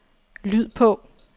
lyd på